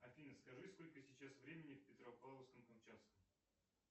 афина скажи сколько сейчас времени в петропавловске камчатском